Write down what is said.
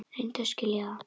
Reyndu að skilja það!